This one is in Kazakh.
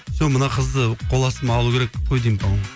сол мына қызды қол астыма алу керек қой деймін по моему